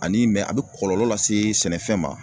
Ani a be kɔlɔlɔ lase sɛnɛfɛn ma